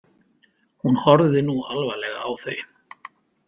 Hún horfði nú alvarleg á þau.